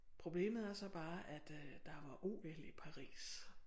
Problemet er så bare at øh der var OL i Paris